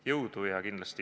Jõudu!